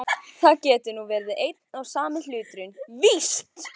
Það getur nú verið einn og sami hluturinn, víst.